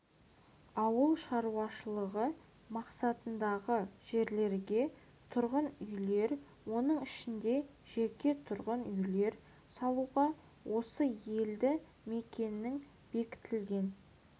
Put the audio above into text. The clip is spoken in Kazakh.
ауыл шаруашылығы мақсатындағы жерлерге тұрғын үйлер оның ішінде жеке тұрғын үйлер салуға осы елді мекеннің бекітілген